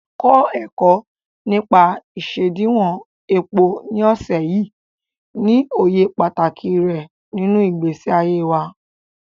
Kọ́ ẹ̀kọ́ nípa isediwon epo ní ọ̀sẹ̀ yìí, ní òye pàtàkì rẹ̀ nínú ìgbésí ayé wa.